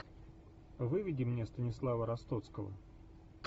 выведи мне станислава ростоцкого